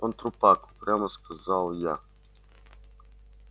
он трупак упрямо сказал я